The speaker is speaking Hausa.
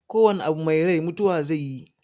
Ko wana abu mai rai mutuwa zaiyi